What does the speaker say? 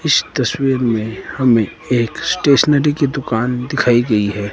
इस तस्वीर में हमें एक स्टेशनरी की दुकान दिखाई गई है।